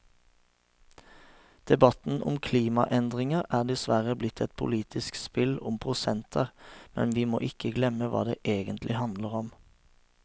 Debatten om klimaendringer er dessverre blitt et politisk spill om prosenter, men vi må ikke glemme hva det egentlig handler om.